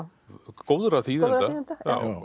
góðra þýðenda